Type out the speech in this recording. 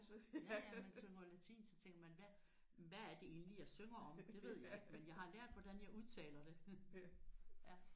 Ja ja man synger jo latin så tænker man hvad hvad er det egentlig jeg synger om? Det ved jeg ikke men jeg har lært hvordan jeg udtaler det